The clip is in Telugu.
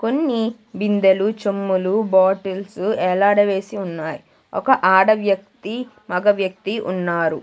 కొన్ని బిందెలు చెమ్ములు బాటిల్సు ఎలాడవేసి ఉన్నాయ్ ఒక ఆడ వ్యక్తి మగ వ్యక్తి ఉన్నారు.